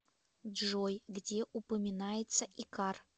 джой где упоминается икар